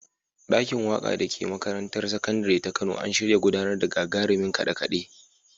Ɗakin waƙa da ke makarantar sakandire ta Kano an shirya gudanar da gagarumin kaɗe-kaɗe